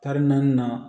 Taari naani na